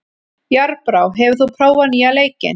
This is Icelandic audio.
Járnbrá, hefur þú prófað nýja leikinn?